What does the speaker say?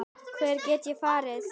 Hvert gat ég farið?